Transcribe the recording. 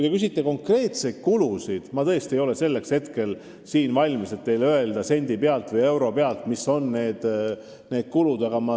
Te küsite konkreetseid kulusid, aga ma ei ole selleks valmis, et teile siin kohe sendi või euro pealt kulusid öelda.